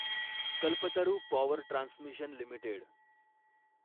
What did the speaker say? Kalpataru power transmission limited